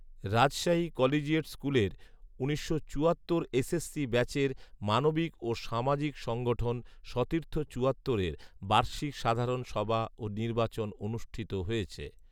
Rajshahi collegiate স্কুলের উনিশশো চুয়াত্তর সালের এসএসসি ব্যাচের মানবিক ও সামাজিক সংগঠন সতীর্থ চুয়াত্তরের বার্ষিক সাধারণ সভা ও নির্বাচন অনুষ্ঠিত হয়েছে